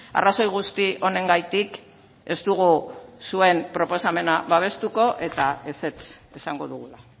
arrazoi guzti honengatik ez dugu zuen proposamena babestuko eta ezetz esango dugula